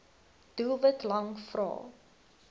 doelwit lang vrae